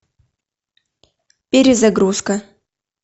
перезагрузка